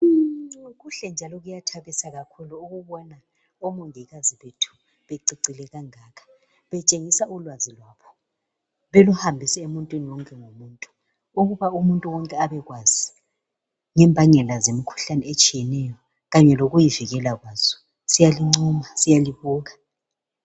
Kuhle njalo kuyathabisa ukubona omongikazi bececile kangaka betshengisa ulwazi lwabo beluhambisa emuntwini wonke ukuthi umuntu wonke abekwazi ngembangela zemikhuhlane etshiyeneyo kanye lokuyivikela kwazo siyalincoma siyalibuka